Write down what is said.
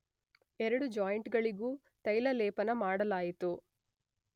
ಎರಡು ಜಾಯಿಂಟ್ ಗಳಿಗೂ ತೈಲಲೇಪನ ಮಾಡಲಾಯಿತು.